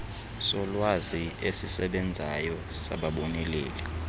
solwazi esisesbenzayo sababoneleli